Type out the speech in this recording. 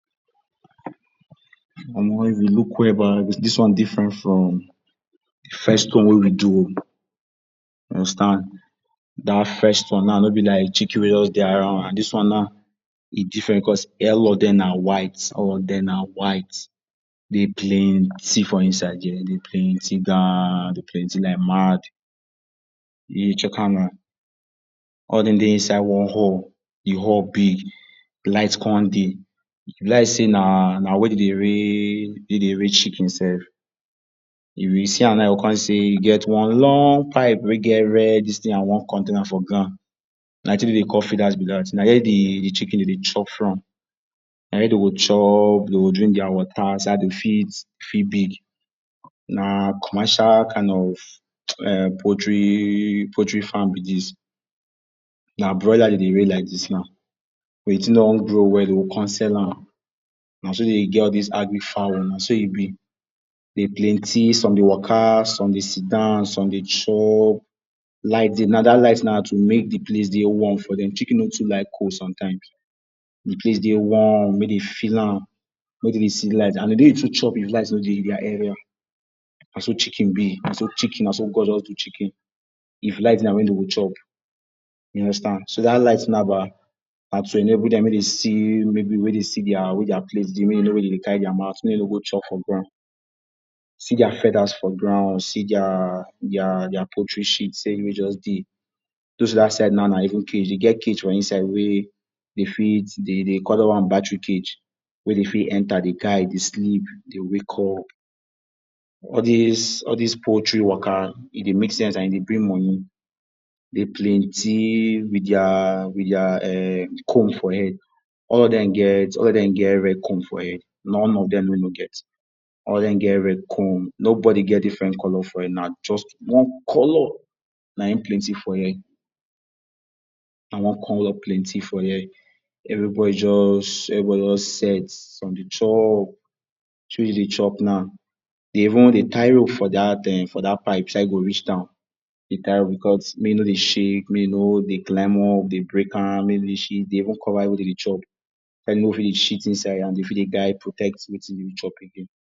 Omo if you look well ba dis one different from de first one wey we do o, understand dat first one no be like chicken wey de around and dis one now e different because all of dem na white all of dem na white dey plenty for inside there de plenty gon, dey plenty like mad. you check am now all of dem de inside one hall, de hall big light come de e be like sey na where dem de rare chicken sef if you see am now you go come sey e get one long pipe wey get red dis thing and one container for ground na wetin dem de call feeders be dat, na here de de, de chicken dem de chop from na there dem go chop, dem go drink water inside de feed fit big na commercial kind of [um]poultry farm be dis na broilers dem dey rare now. When de thing don grow well dem go come sale am naso dem dey get all this agric fowl naso e be dem plenty some de waka, some de seat down, some de chop, light de now dat light na too make de place de warm for dem, chicken no too like cold sometimes d place de warm make dem feel am, make dem de see light and dem no de too chop if light no dey naso chicken be, naso chicken naso God just do chicken if light de na when dem go chop you understand so dat light now ba na to enable dem see maybe make dem see where their plate de make dem no where them de carry their mouth go make dem no go chop for ground see their feathers for ground see their poultry shit, sef wey just de, close to dat side now na even cage e get cage for inside wey dem feed dem de call dat one battery cage wey dem fit enter de guard de sleep de wakup all dis all dis poultry waka e de make sense and e de bring money e de plenty with their with dia comb for head all of dem get get red comb for head non of dem wey no get all of dem get red comb no body get different color for head na just one color na em plenty for here na one color plenty for here every body just everybody just set from de top dem de chop now de de tie rope for dat for dat [um]pipe so dat e go reach down because make e no de shake may e no de claim up de break am may dem no de shit there, make dem no cover where dem de chop, so dat dem no fit de shit inside and dem fit de guild protect wetin dem dey chop again